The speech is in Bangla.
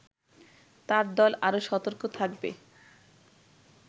তার দল আরো সতর্ক থাকবে